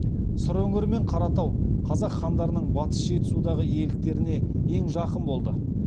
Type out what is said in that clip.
сыр өңірі мен қаратау қазақ хандарының батыс жетісудағы иеліктеріне ең жақын болды